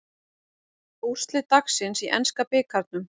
Úrslit dagsins í enska bikarnum